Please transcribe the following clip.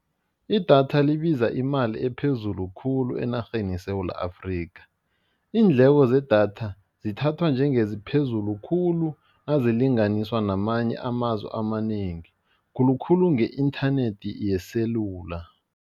Idatha libiza imali ephezulu khulu enarheni yeSewula Afrika, iindleko zedatha zithathwa njengeziphezulu khulu nazilinganiswa namanye amazwe amanengi, khulu khulu nge-inthanethi yeselula.